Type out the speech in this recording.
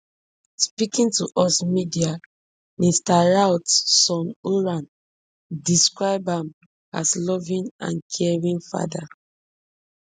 speaking to us media mr routh son oran describe am as loving and caring father